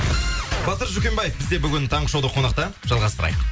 батыр жүкембаев бізде бүгін таңғы шоуда қонақта жалғастырайық